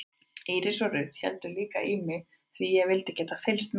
Íris og Ruth héldu líka í mig því ég vildi geta fylgst með þeim.